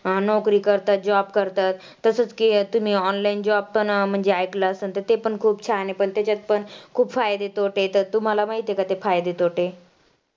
नोकरी करतात, job करतात तसंच की तुम्ही online job पण म्हणजे ऐकलं असेल तर ते पण खूप छान हे पण तेच्यात पण खूप फायदे तोटे आहेत तर तुम्हाला माहिती आहे का ते फायदे तोटे?